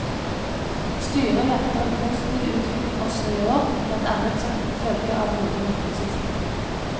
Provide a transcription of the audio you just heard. Styret venter en positiv utvikling også i år, blant annet som følge av gode markedsutsikter.